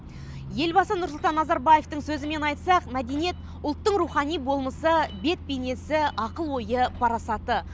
елбасы нұрсұлтан назарбаевтың сөзімен айтсақ мәдениет ұлттың рухани болмысы бет бейнесі ақыл ойы парасаты